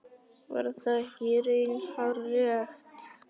Var það ekki í raun hárrétt?